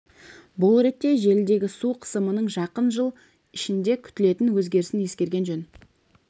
бұл ретте желідегі су қысымының жақын жыл ішінде күтілетін өзгерісін ескерген жөн